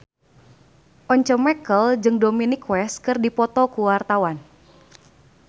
Once Mekel jeung Dominic West keur dipoto ku wartawan